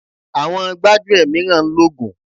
Àwọn gbájúẹ̀ mìíràn ń lògùn.